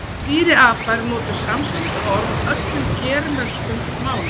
Um dýrið apa eru notuð samsvarandi orð á öllum germönskum málum.